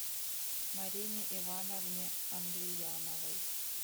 марине ивановне андрияновой